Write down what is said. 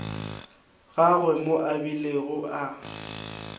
gagwe moo a bilego a